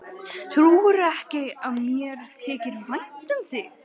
Trúirðu ekki að mér þyki vænt um þig?